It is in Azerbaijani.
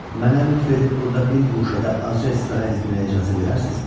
Mənə lütf edib burada bir guşədə azca istirahət etməyə icazə verərsinizmi?